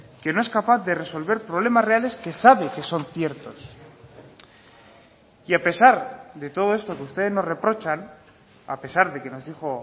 que no es capaz de resolver problemas reales que sabe que son ciertos y a pesar de todo esto que ustedes nos reprochan a pesar de que nos dijo